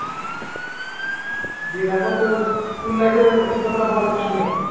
দিয়ে তারপর তোর school life এর অভিজ্ঞতাটা বল একটু শুনি